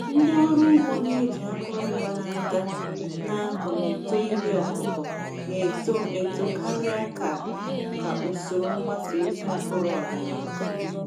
Ndị ọrụ ugbo na-eji akụrụngwa n’aka na-akọ na uto ihe ọkụkụ na-eto eto karịa ka ka usoro mgbasa ozi mkpụrụ ọdịnala.